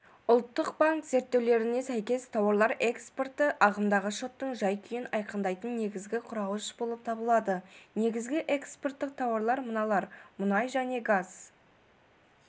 ұлттық банк зерттеулеріне сәйкес тауарлар экспорты ағымдағы шоттың жай-күйін айқындайтын негізгі құрауыш болып табылады негізгі экспорттық тауарлар мыналар мұнай және газ